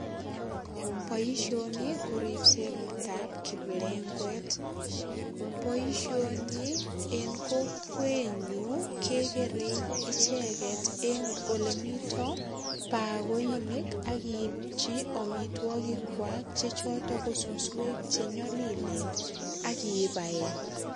Boisioni ko ripset ab kiplengwet. Boisioni eng kokwenyu kegerei icheget eng olemito bakoinik ak iipchi amiteogikwak che choton ko suswek che nyalilen ak ibaen.